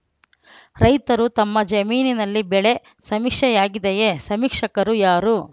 ರೈತರು ತಮ್ಮ ಜಮೀನಿನಲ್ಲಿ ಬೆಳೆ ಸಮೀಕ್ಷೆಯಾಗಿದೆಯೇ ಸಮೀಕ್ಷಕರು ಯಾರು